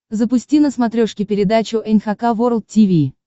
запусти на смотрешке передачу эн эйч кей волд ти ви